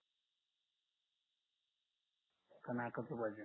का नाकाच पाहिजे